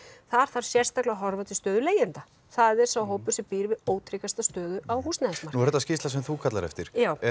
þar þarf sérstaklega að horfa til stöðu leigjenda það er sá hópur sem býr við stöðu á húsnæðismarkaði þetta skýrsla sem þú kallar eftir